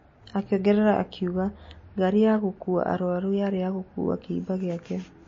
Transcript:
Akĩongerera akiuga: " Ngari ya gũkua arũaru yarĩ ya gũkuwa kĩimba gĩake."